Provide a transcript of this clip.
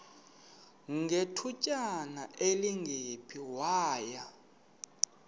ngethutyana elingephi waya